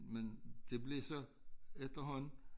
Men det blev så efterhånden